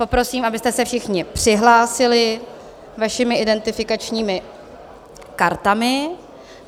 Poprosím, abyste se všichni přihlásili vašimi identifikačními kartami.